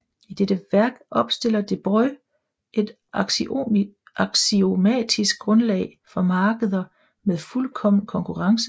I dette værk opstiller Debreu et aksiomatisk grundlag for markeder med fuldkommen konkurrence